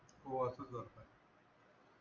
हो असच घडत आहे.